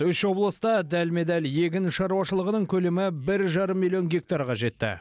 үш облыста дәлме дәл егін шаруашылығының көлемі бір жарым миллион гектарға жетті